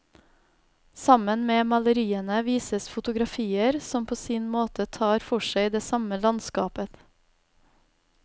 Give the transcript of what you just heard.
Sammen med maleriene vises fotografier, som på sin måte tar for seg det samme landskapet.